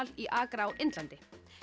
í Agra á Indlandi